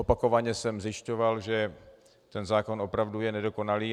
Opakovaně jsem zjišťoval, že ten zákon opravdu je nedokonalý.